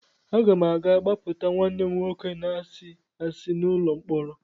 Aga m aga gbapụta nwanne m nwoke na-asị asị n'ụlọ mkpọrọ.